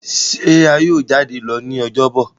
ṣe a yíò jade lọ ní Ọjọ́ Bọ̀?